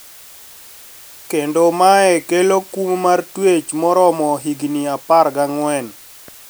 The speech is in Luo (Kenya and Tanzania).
Kendo mae kelo kum mar twech moromo higni apar gang`en